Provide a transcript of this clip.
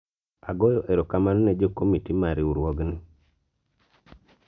agoyo erokamano ne jo komiti mar riwruogni